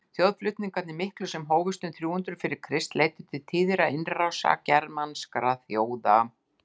þjóðflutningarnir miklu sem hófust um þrjú hundruð fyrir krist leiddu til tíðra innrása germanskra þjóða